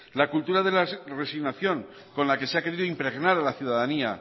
la cultura de la resignación con la que se ha querido impregnar a la ciudadanía